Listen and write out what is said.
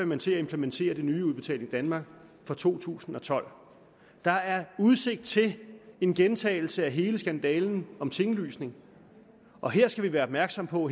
man til at implementere det nye udbetaling danmark fra to tusind og tolv der er udsigt til en gentagelse af hele skandalen om tinglysningen og her skal vi være opmærksomme på